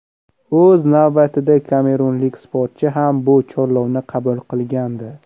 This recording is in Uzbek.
O‘z navbatida kamerunlik sportchi ham bu chorlovni qabul qilgandi.